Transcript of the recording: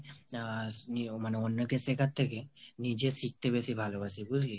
আ~ মানে অন্যকে শেখার থেকে, নিজে শিখতে বেশি ভালোবাসি বুজলি?